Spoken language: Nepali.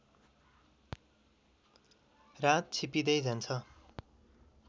रात छिप्पिँदै जान्छ